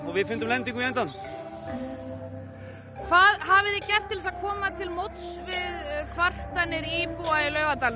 við fundum lendingu í endann hvað hafið þið gert til að komast til móts við kvartanir íbúa í Laugardalnum